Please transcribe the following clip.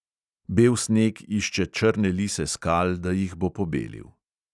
Bel sneg išče črne lise skal, da jih bo pobelil.